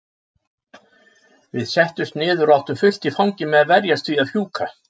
Við settumst niður og áttum fullt í fangi með að verjast því að fjúka.